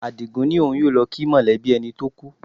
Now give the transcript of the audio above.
Àdìgún ní òun yóò lọ kí mọ̀lẹ́bí ẹni tó kú